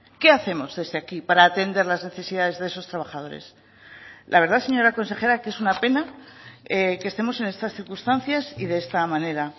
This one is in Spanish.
qué hacemos desde aquí para atender las necesidades de esos trabajadores la verdad señora consejera que es una pena que estemos en estas circunstancias y de esta manera